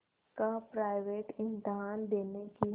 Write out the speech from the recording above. का प्राइवेट इम्तहान देने की